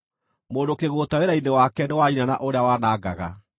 Mũndũ kĩgũũta wĩra-inĩ wake nĩ wa nyina na ũrĩa wanangaga.